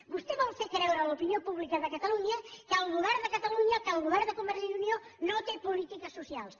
vostè vol fer creure a l’opinió pública de catalunya que el govern de catalunya que el govern de convergència i unió no té polítiques socials